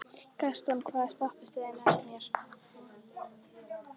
Gaston, hvaða stoppistöð er næst mér?